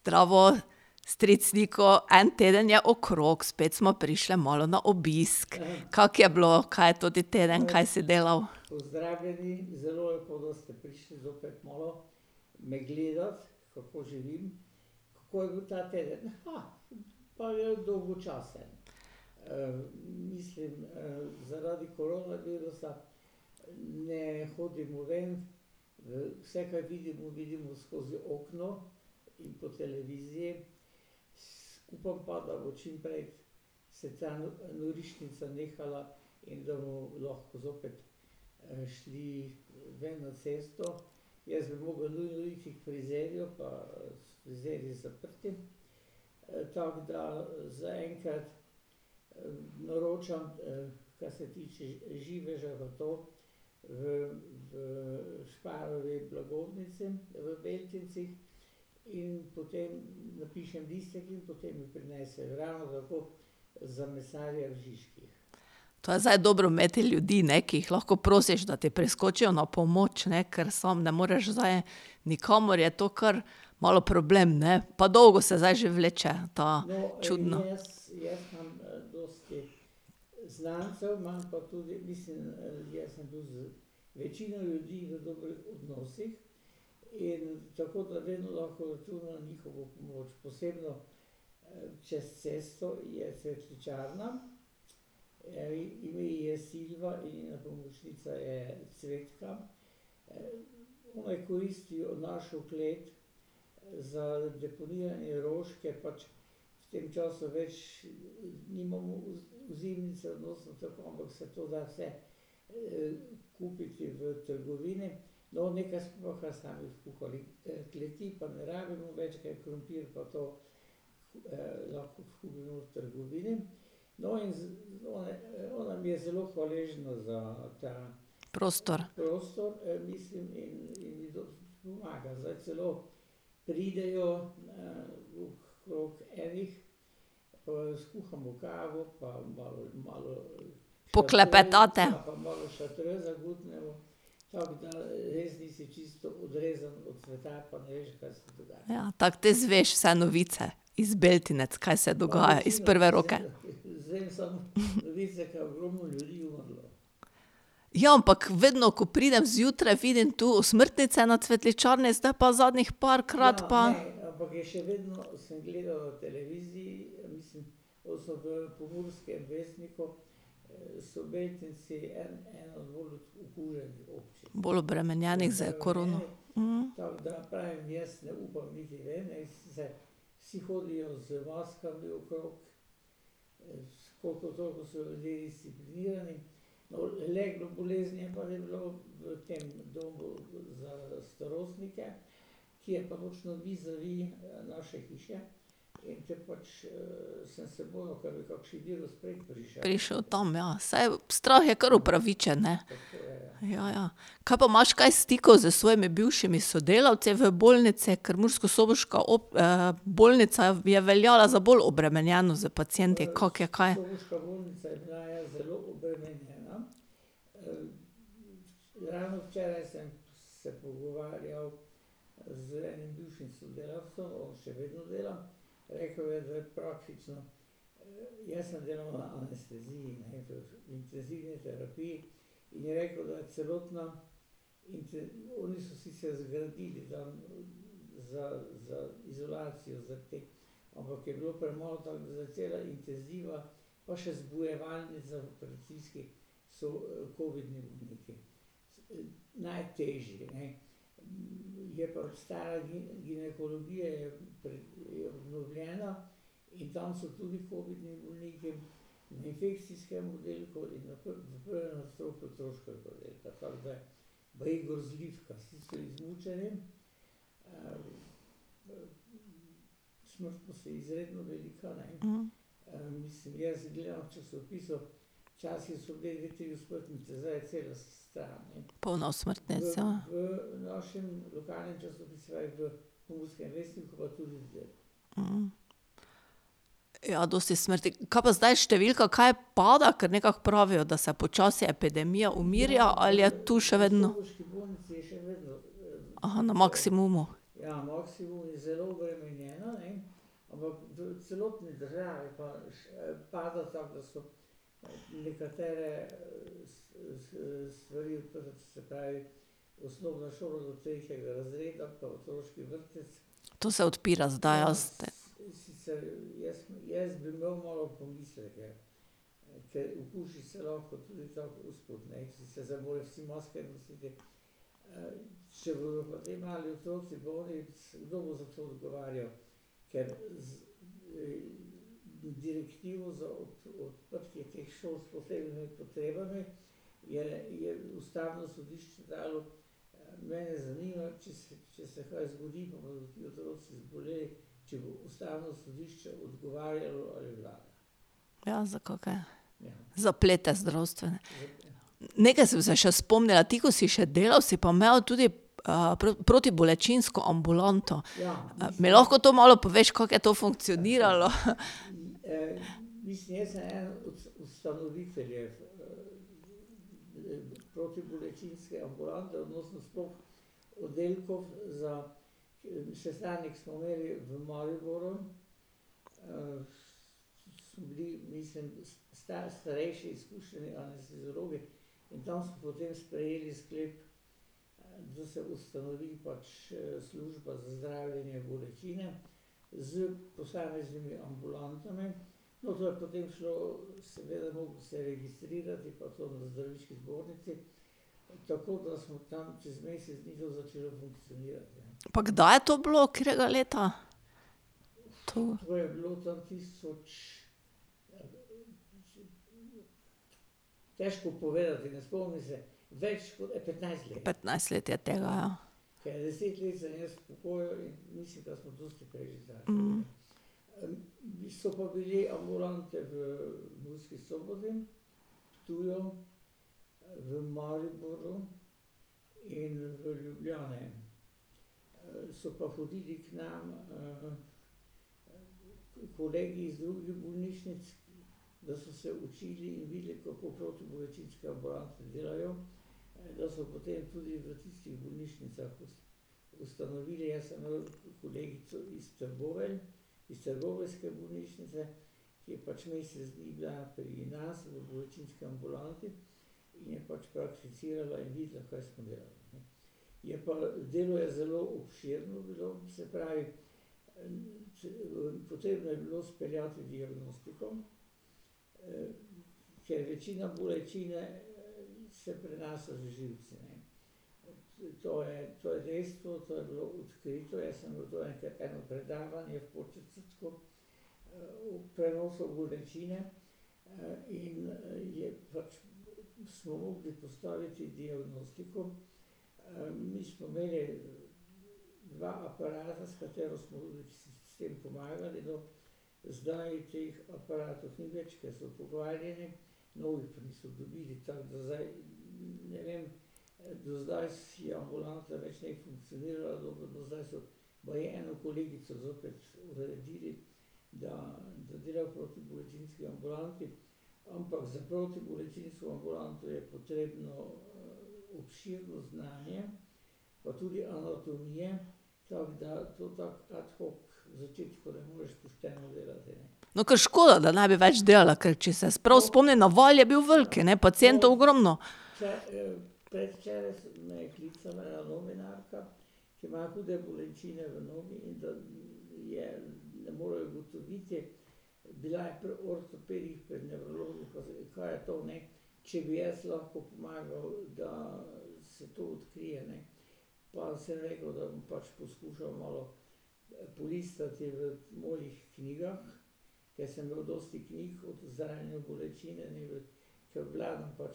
Zdravo. Stric Niko, en teden je okrog, spet smo prišli malo na obisk. Kako je bilo kaj toti teden, kaj si delal? To je zdaj dobro imeti ljudi, ne, ki jih lahko prosiš, da ti priskočijo na pomoč, ne, ker samo ne moreš zdaj nikamor, je to kar malo problem, ne. Pa dolgo se zdaj že vleče ta čudna ... Poklepetate. Ja, tako ti izveš vse novice, iz Beltincev, kaj se dogaja, iz prve roke. Ja, ampak, vedno, ko pridem zjutraj, vidim tu osmrtnice na cvetličarni, zdaj pa zadnjih parkrat pa ... Bolj obremenjenih s korono. Prišel tam, ja, saj strah je kar upravičen, ne. Ja, ja. Kaj pa imaš kaj stikov s svojimi bivšimi sodelavci v bolnici, ker murskosoboška bolnica je veljala za bolj obremenjeno s pacienti, kako je kaj? Polno osmrtnic, Ja, dosti smrti ... Kaj pa zdaj številka kaj pada, ker nekako pravijo, da se počasi epidemija umirja, ali je tu še vedno ... Aha, na maksimumu. To se odpira zdaj, jaz te ... Ja, za kake zaplete zdravstvene. Nekaj sem se še spomnila, ti, ko si še delal, si pa imel tudi, protibolečinsko ambulanto. mi lahko to malo poveš, kako je to funkcioniralo, . Pa kdaj je to bilo, katerega leta? To ... Petnajst let je tega, ja ... Bilo kar škoda, da ne bi več delala, ker če se jaz prav spomnim, naval je bil velik, ne, pacientov